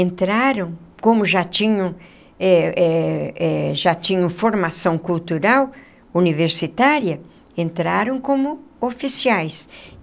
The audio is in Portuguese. entraram, como já tinham eh eh eh já tinham formação cultural universitária, entraram como oficiais.